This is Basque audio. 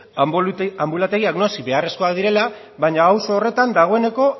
anbulategiak noski beharrezkoak direla baina auzo horretan dagoeneko